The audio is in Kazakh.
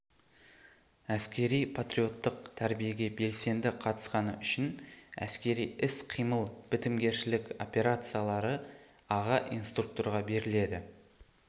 әскери-патриоттық тәрбиеге белсенді қатысқаны үшін әскери іс-қимыл бітімгершілік операциялары аға инструкторға беріледі